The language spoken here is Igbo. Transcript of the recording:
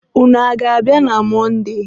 ụnụ a ga-abịa na Mọnde?